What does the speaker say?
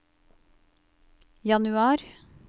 januar